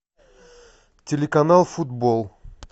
телеканал футбол